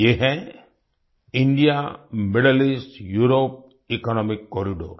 ये है India Middle East Europe economic corridor